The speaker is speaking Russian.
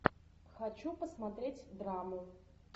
хочу посмотреть драму